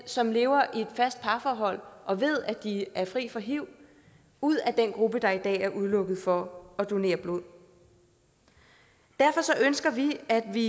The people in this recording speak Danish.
som lever i et fast parforhold og ved at de er fri for hiv ud af den gruppe der i dag er udelukket fra at donere blod derfor ønsker vi at vi